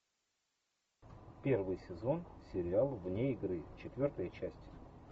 первый сезон сериал вне игры четвертая часть